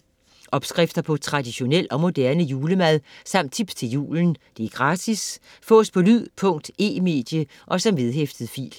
Opskrifter på traditionel og moderne julemad samt tips til julen. Gratis. Fås på lyd, punkt, e-medie og som vedhæftet fil